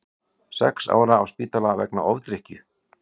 Sex ára á spítala vegna ofdrykkju